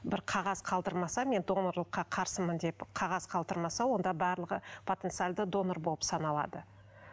бір қағаз қалдырмаса мен донорлыққа қарсымын деп қағаз қалдырмаса онда барлығы потенциалды донор болып саналады